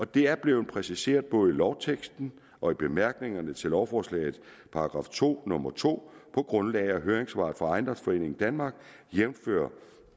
det er blevet præciseret i både lovteksten og i bemærkningerne til lovforslagets § to nummer to på grundlag af høringssvaret fra ejendomsforeningen danmark jævnfør